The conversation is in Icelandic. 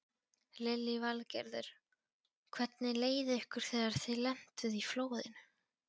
Lillý Valgerður: Hvernig leið ykkur þegar þið lentuð í flóðinu?